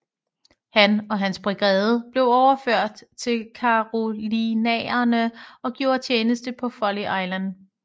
Han og hans brigade blev overført til Carolinaerne og gjorde tjeneste på Folly Island